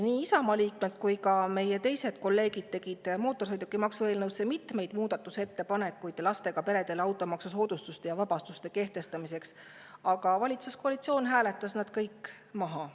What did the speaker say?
Nii Isamaa liikmed kui ka meie kolleegid tegid mootorsõidukimaksu eelnõu kohta mitmeid muudatusettepanekuid automaksusoodustuste ja -vabastuste kehtestamiseks lastega peredele, aga valitsuskoalitsioon hääletas need kõik maha.